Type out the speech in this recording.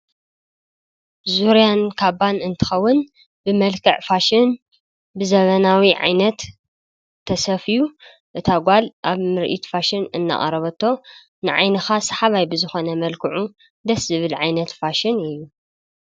ዙርያን ካባን እንትከውን ብመልክዕ ፋሽን ብዘበናዊ ዓይነት ተሰፍዩ እታ ጓል ኣብ ምርኢት ፋሽን እናቅረበቶ ንዓይንካ ሰሓባይ ብዝኮነ መልክዑ ደስ ዝብል ዓይነት ፋሽን እዩ፡፡